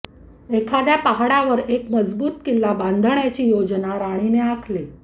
एखाद्या पहाडावर एक मजबूत किल्ला बांधण्याची योजना राणीने आखली